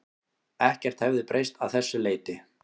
Ekkert hefði breyst að þessu leyti